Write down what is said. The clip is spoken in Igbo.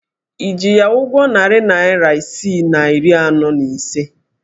Ị ji ya ụgwọ narị naịra isii na iri anọ na ise?